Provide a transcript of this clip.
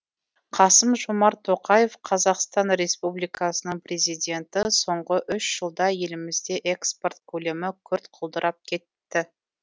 қасым жомарт тоқаев қазақстан республикасының президенті соңғы үш жылда елімізде экспорт көлемі күрт құлдырап кетті